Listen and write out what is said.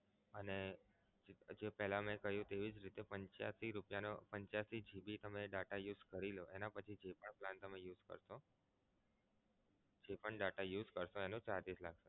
અને પછી પેહલા મે કહ્યું તેવી જ રીતે પંચાસી રૂપિયા નો પંચાસી GB તમે data use કરી લો એના પછી જે પણ plan તમે use કરશો જે પણ data use કરશો એનો charge એટલો થશે.